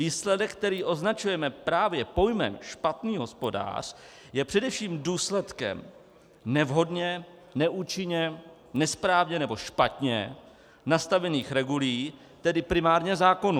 Výsledek, který označujeme právě pojmem špatný hospodář, je především důsledkem nevhodně, neúčinně, nesprávně nebo špatně nastavených regulí, tedy primárně zákonů.